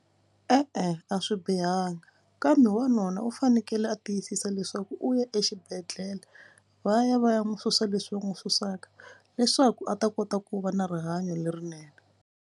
E-e a swi bihanga kambe wanuna u fanekele a tiyisisa leswaku u ya exibedhlele va ya va ya n'wi susa leswi va n'wi susaka leswaku a ta kota ku va na rihanyo lerinene.